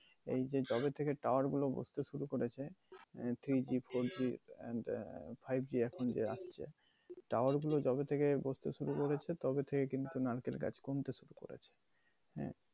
এই যে জবে থেকে tower গুলো বসতে শুরু করেছে, uh three G, four G and uh five G এখণ যে আসছে, tower গুলো জবে থেকে বসতে শুরু করেছে তবে থেকে কিন্তু নারকেল গাছ কমতে শুরু করেছে।